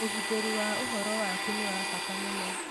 ũgitĩri wa ũhoro waku nĩ wa bata mũno.